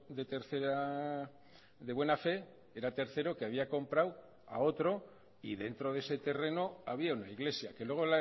de tercera de buena fe era tercero que había comprado a otro y dentro de ese terreno había una iglesia que luego